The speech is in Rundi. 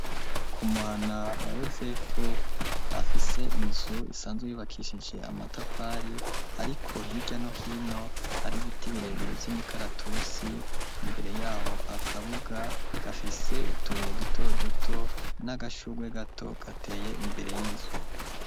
Ku muhana wa yosefu afise inzu isanzwe yubakishije amatafari ariko hirya no hino hari ibiti birebire vy'imikaratusi imbere yaho akabuga gafise utubuye duto duto n'agashugwe gato gateye imbere y'inzu.